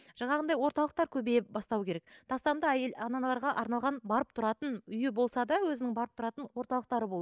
жаңағындай орталықтар көбейе бастау керек тастанды әйел аналарға арналған барып тұратын үйі болса да өзінің барып тұратын орталықтары